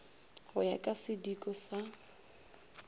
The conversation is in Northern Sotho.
go ya ka sidiko sa